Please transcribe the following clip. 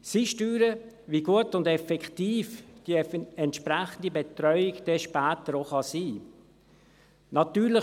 Sie steuern, wie gut und effektiv die entsprechende Betreuung dann später auch sein kann.